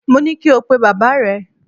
Mo ní kí o pe bàbáà rẹ!